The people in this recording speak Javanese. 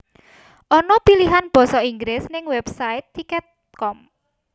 Ono pilihan boso Inggris ning website tiket com